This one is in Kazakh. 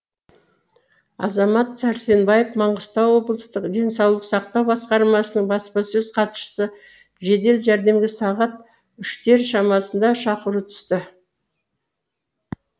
азамат сәрсенбаев маңғыстау облыстық денсаулық сақтау басқармасының баспасөз хатшысы жедел жәрдемге сағат үштер шамасында шақыру түсті